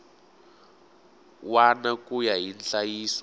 wana ku ya hi nhlayiso